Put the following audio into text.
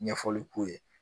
Ɲɛfɔli k'u ye